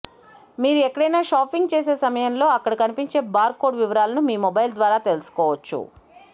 మీరు ఎక్కడైనా షాపింగ్ చేసే సమయంలె అక్కడ కనిపించే బార్ కోడ్ వివరాలను మీ మొబైల్ ద్వారా తెలుసుకోవచ్చు